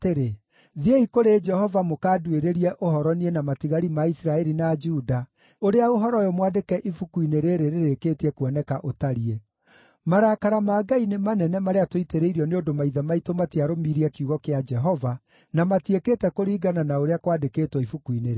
“Thiĩi kũrĩ Jehova mũkanduĩrĩrie ũhoro niĩ na matigari ma Isiraeli na Juda ũrĩa ũhoro ũyũ mwandĩke ibuku-inĩ rĩĩrĩ rĩrĩkĩtie kuoneka ũtariĩ. Marakara ma Ngai nĩ manene marĩa tũitĩrĩirio nĩ ũndũ maithe maitũ matiarũmirie kiugo kĩa Jehova, na matiĩkĩte kũringana na ũrĩa kwandĩkĩtwo ibuku-inĩ rĩĩrĩ.”